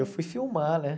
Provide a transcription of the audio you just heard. Eu fui filmar, né?